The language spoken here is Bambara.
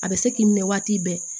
A bɛ se k'i minɛ waati bɛɛ